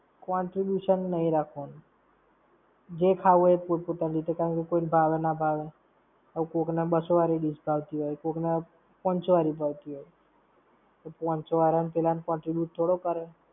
Contribution નહિ રાખવાનું. જે ખાવું હોય તે પૂરતું પોતાની રીતે. કોઈ ને ભાવે ના ભાવે! હવે કોકને બસો વળી dish ભાવતી હોય, કોકને પાનસો વાળી ભાવતી હોય. તો પાનસો વાળને પેલાને contribute થોડી કરે!